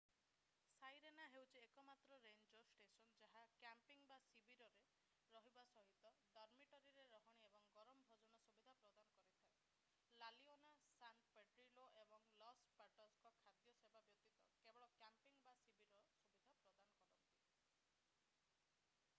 Sirena ହେଉଛି ଏକମାତ୍ର ranger station ଯାହା କ୍ୟାମ୍ପିଙ୍ଗ୍ ବା ଶିବିରରେ ରହିବା ସହିତ ଡର୍ମିଟରିରେ ରହଣି ଏବଂ ଗରମ ଭୋଜନ ସୁବିଧା ପ୍ରଦାନ କରିଥାଏ ଲା ଲିଓନା ସାନ୍ ପେଡ୍ରିଲୋ ଏବଂ ଲସ୍ ପାଟୋସ୍ ଖାଦ୍ୟ ସେବା ବ୍ୟତୀତ କେବଳ କ୍ୟାମ୍ପିଙ୍ଗ୍ ବା ଶିବିର ସୁବିଧା ପ୍ରଦାନ କରନ୍ତି